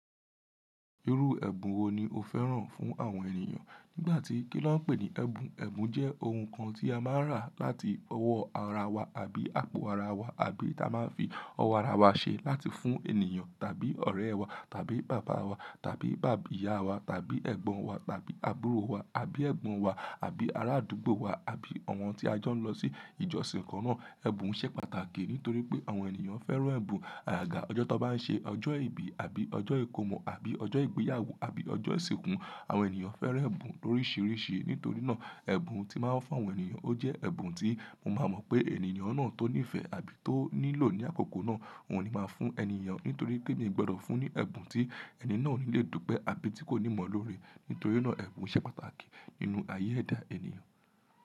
Irú ẹ̀bùn wo ni o fẹ́ràn fún àwọn ènìyàn? Nígbà tí kí lọ́ ń pè ní ẹ̀bùn, ẹ̀bùn jẹ́ ohun kan tí a máa ń rà láti ọwọ́ ara wa àbí àpò ara wa, àbí ta máa ń fi ọwọ́ ara wa ṣe láti fún ènìyàn tàbí ọ̀rẹ́ wa tàbí bàbá wa tàbí bàbì ìyá wa tàbí ẹ̀gbọ́n wa tàbí àbúrò wa àbí ẹ̀gbọ́n wa àbí arádúgbò wa àbí àwọn tí a jọ ń lọ sí ìjọsìn kan náà. Ẹ̀bùn ṣẹ́ pàtàkì nítorí pé àwọn ènìyàn fẹ́ràn ẹ̀bùn. Àga ọjọ́ tó bá ń ṣe, ọjọ́ ìbí àbí ọjọ́ ìkómọ àbí ọjọ́ ìgbéyàwó àbí ọjọ́ ìsìnkú, àwọn ènìyàn fẹ́ràn ẹ̀bùn loríṣìíríṣìí. Nítorí náà ẹ̀bùn tí màá ń fún àwọn ènìyàn, ó jẹ́ ẹ̀bùn tí mo máa mọ̀ pé ènìyàn náà tó nífẹ̀ẹ́ àbí tó nílò ní àkókò náà, òun ni màá fún ènìyàn nítorí pé mi ò gbọ́dọ̀ fún ní ẹ̀bùn tí ẹni náà ò ní lè dúpẹ́ àbí tí kò ní mọ̀ lórí. Nítorí náà ẹ̀bùn ṣẹ́ pàtàkì nínú ayé ẹ̀dá ènìyàn.